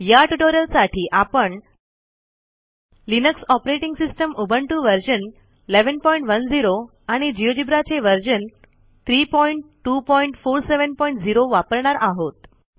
या ट्युटोरियलसाठी आपण Linux operating system Ubuntu version 1110 आणि Geogebraचे व्हर्शन 32470 वापरणार आहोत